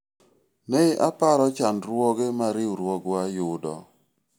ne aparo chandruoge ma riwruogwa yudo